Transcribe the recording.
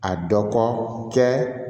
A dɔ ko kɛ